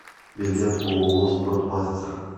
билет ооо спортмастер